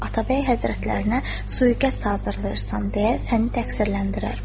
Atabəy Həzrətlərinə sui-qəsd hazırlayırsan deyə səni təqsirləndirər.